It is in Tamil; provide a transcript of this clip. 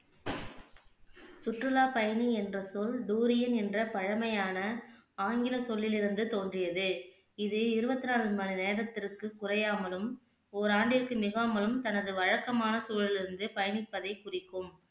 சுற்றுலா பயணி என்ற சொல் டூரியன் என்ற பழைமையான ஆங்கில சொல்லில் இருந்து தோன்றியது இது இருவத்தி நான்கு மணி நேரத்திற்கு குறையாமலும் ஒரு ஆண்டிற்கு மிகாமலும் தனது வழக்கமான சூழலில் இருந்து பயணிப்பதை குறிக்கும்